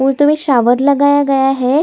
वो तो ये शावर लगाया गया हैं।